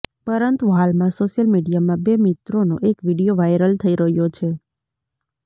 પરંતુ હાલમાં સોશિયલ મીડિયામાં બે મિત્રોનો એક વીડિયો વાઈરલ થઈ રહ્યો છે